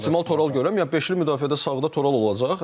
Mən də optimal Toral görürəm, yəni beşli müdafiədə sağda Toral olacaq.